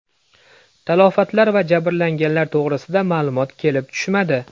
Talafotlar va jabrlanganlar to‘g‘risida ma’lumot kelib tushmadi.